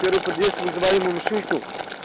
первый подъезд вызывали мы машинку